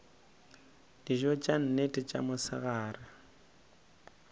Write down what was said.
dijo tša nnete tša mosegare